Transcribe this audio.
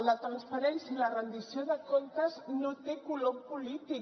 la transparència i la rendició de comptes no tenen color polític